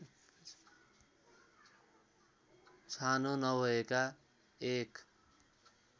छानो नभएका एक